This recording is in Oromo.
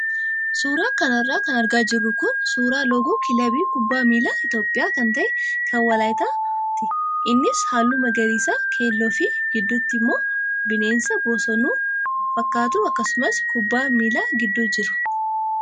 Suuraa kanarra kan argaa jirru kun suuraa loogoo kilabii kubbaa miilaa Itoophiyaa kan ta'e kan Waaliyaati. Innis halluu magariisa, keelloo fi gidduutti immoo bineensa bosonuu fakkaatu akkasumas kubbaan miilaa gidduu jira.